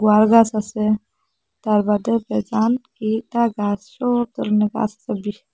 তালগাছ আসে তার বাদে ।